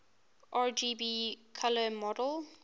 rgb color model